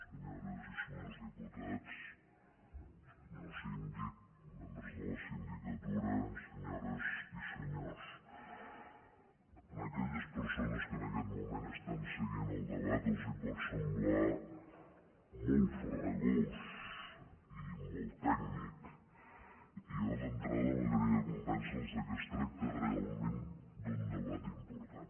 senyores i senyors diputats senyor síndic membres de la sindicatura senyores i senyors a aquelles persones que en aquest moment estan seguint el debat els pot semblar molt farragós i molt tècnic i a mi d’entrada m’agradaria convèncerlos que es tracta realment d’un debat important